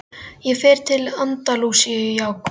Ég fer til Andalúsíu í ágúst.